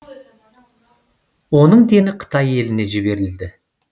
оның дені қытай еліне жіберілді